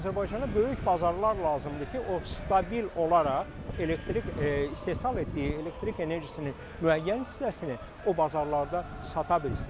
Azərbaycana böyük bazarlar lazımdır ki, o stabil olaraq elektrik istehsal etdiyi elektrik enerjisinin müəyyən hissəsini o bazarlarda sata bilsin.